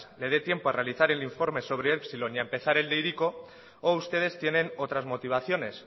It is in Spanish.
le dé tiempo a realizar el informe sobre epsilon y a empezar el de hiriko o ustedes tienen otras motivaciones